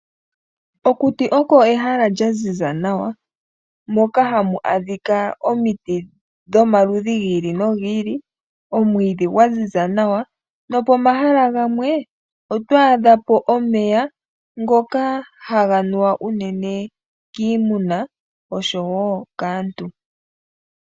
Okuti okwo ehala lyaziza nawa moka hamu adhika omiti dhomaludhi gili nogili, omwiidhi gwaziza nawa nopomahala gamwe oto a dhapo omeya ngoka haga nuwa unene kiimuna oshowoo kaantu.